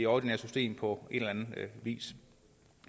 ordinære system på en eller anden vis